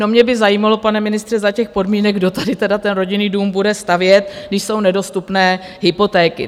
No, mě by zajímalo, pane ministře, za těch podmínek, kdo tady tedy ten rodinný dům bude stavět, když jsou nedostupné hypotéky.